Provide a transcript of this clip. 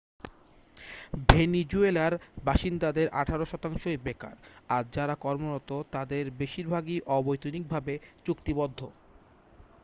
ভেনিজুয়েলার বাসিন্দাদের আঠারো শতাংশই বেকার আর যারা কর্মরত তাদের বেশিরভাগই অবৈতনিক ভাবে চুক্তিবদ্ধ